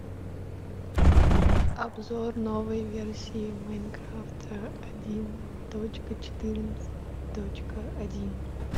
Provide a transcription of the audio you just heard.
обзор новой версии майнкрафт один точка четырнадцать точка один